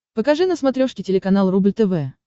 покажи на смотрешке телеканал рубль тв